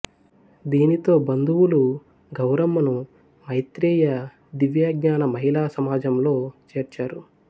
దీనితో బంధువులు గౌరమ్మను మైత్రేయ దివ్యజ్ఞాన మహిళా సమాజంలో చేర్చారు